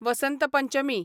Vasant Panchami